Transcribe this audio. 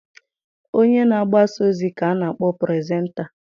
Onye na-agbasa ozi ka a na-akpọ puresenta